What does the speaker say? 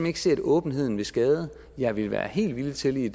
ikke se at åbenheden vil skade jeg ville være helt villig til i